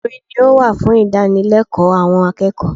Orin ni ó wà fún ìdánilẹ́kọ̀ọ́ àwọn akẹ́kọ̀ọ́